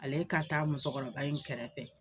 Ale ka taa musokɔrɔba in kɛrɛfɛ